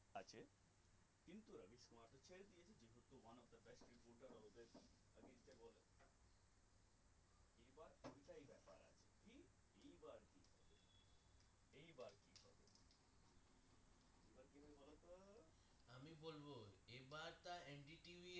আমি বলবো এইবার তার